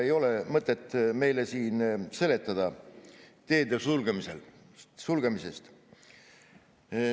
Ei ole mõtet meile siin seletada teede sulgemisest.